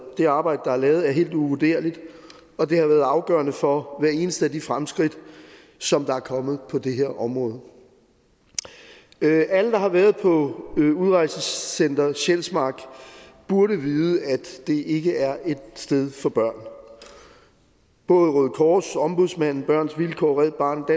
det arbejde der er lavet er helt uvurderligt og det har været afgørende for hvert eneste af de fremskridt som er kommet på det her område alle der har været på udrejsecenter sjælsmark burde vide at det ikke er et sted for børn både røde kors ombudsmanden børns vilkår red barnet og